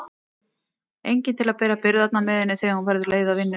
Enginn til að bera byrðarnar með henni þegar hún verður leið á vinnunni.